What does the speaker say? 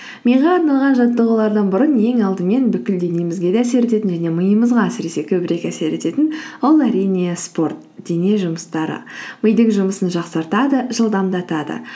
миға арналған жаттығулардан бұрын ең алдымен бүкіл денемізге де әсер ететін және миымызға әсіресе көбірек әсер ететін ол әрине спорт дене жұмыстары мидың жұмысын жақсартады жылдамдатады